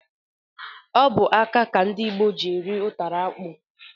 Ọbụ aka ka ndị Igbo ji eri ụtara akpụ.